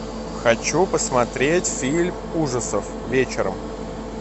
хочу посмотреть фильм ужасов вечером